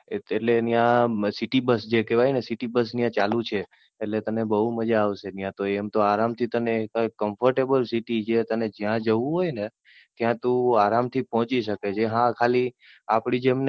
એટલે ત્યાં City Bus જે કેહવાય ને City bus ત્યાં ચાલુ છે. એટલે તને બઉ મજા આવશે, ત્યાં તો આરામ થી, તને ત્યાં Comfortable City છે. તને જ્યાં જવું હોય ને ત્યાં તું આરામ થી પહોચી શકે છે. હા ખાલી આપડી જેમ